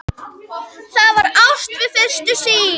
Það var ást við fyrstu sýn.